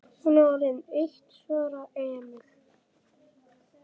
Hún er orðin eitt, svaraði Emil.